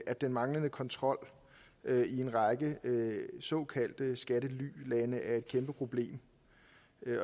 at den manglende kontrol i en række såkaldte skattelylande er et kæmpe problem